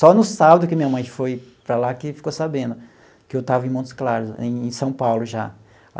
Só no sábado que minha mãe foi para lá que ficou sabendo que eu estava em Montes Claros, em São Paulo já.